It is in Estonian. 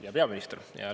Hea peaminister!